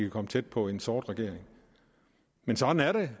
komme tæt på en sort regering men sådan er det